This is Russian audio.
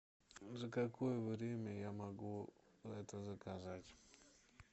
за какое время я могу это заказать